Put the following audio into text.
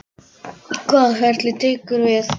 Hvaða ferli tekur við?